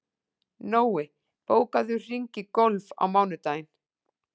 Nói, bókaðu hring í golf á mánudaginn.